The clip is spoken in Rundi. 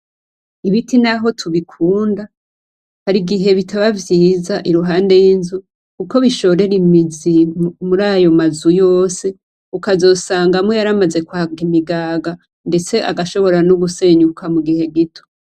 Ibiti naho tubikunda harigihe bitaba vyiza iruhande y'inzu kuko bishorera imizi mur'ayo mazu yose ,ukazosanga amwe yaramaze kwaka imigaga ndetse agashobora no gusenyuka mu gihe gito.